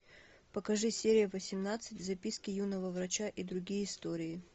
покажи серия восемнадцать записки юного врача и другие истории